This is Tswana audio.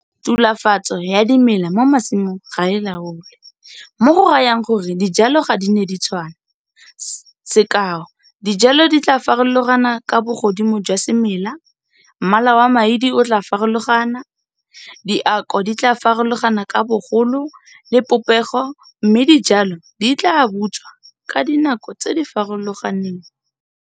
Tulafatso ya dimela mo masimong ga e laolwe, mo go rayang gore dijalo ga di ne di tshwana, sekao dijalo di tlaa farologana ka bogodimo jwa semela, mmala wa maidi o tlaa farologana, diako di tlaa farologana ka bogolo le popego mme dijalo di tlaa butswa ka dinako tse di farologaneng.